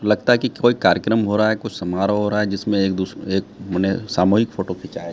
लगता है कि कोई कार्यक्रम हो रहा हैं कुछ समारोह हो रहा हैं जिसमें एक दु एक माने सामूहिक फोटो खिंचाये--